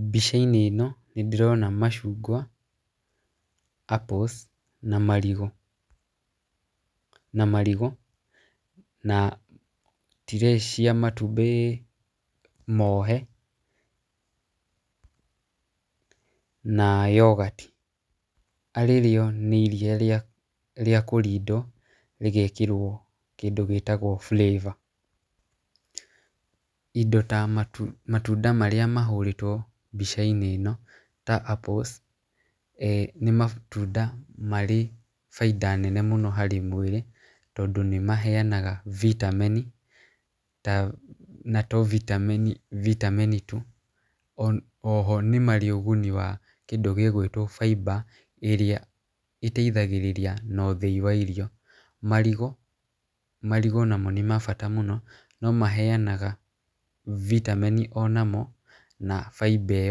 Mbica-inĩ ĩno nĩ ndĩrona macungwa, apples na marigũ , na marigũ na tray cia matumbĩ mohe, na yoghurt , arĩ rĩo nĩ iria rĩa kũrindwo, rĩgekĩrwo kĩndũ gĩtagwo flavour, indo ta matunda marĩa mahũrĩtwo mbica-inĩ ĩno ta apples, e nĩ matunda marĩ baida nene mũno harĩ mwĩrĩ, tondũ nĩmaheanaga vitamin vitamin na to vitamin tu , o nĩ marĩ ũguni wa kĩndũ gĩ gwĩtwo fibre iria ĩteithagĩrĩria na ũthĩi wa irio , marigũ , marigũ namo nĩ ma bata mũno, no maheanga vitamin o namo na fibre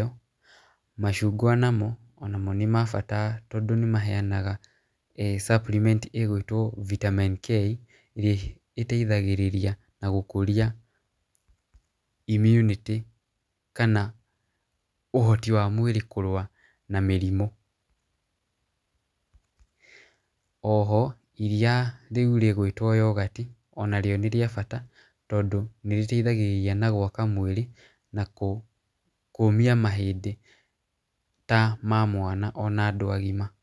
ĩyo, macungwa namo, o namo nĩ ma bata tondũ nĩmaheanaga e supplement ĩgĩtwo vitamin K ĩrĩa ĩteithagĩrĩria na gũkũria immunity , kana ũhoti wa mũndũ kũrũa na mĩrimũ, oho iria rĩu rĩgũĩtwo yoghurt, ona rĩo nĩrĩa bata, tondũ nĩrĩteithagĩrĩria na gwaka mwĩrĩ , nakũ kũmia mahĩndĩ, ta ma mwana ona mũndũ mũgima.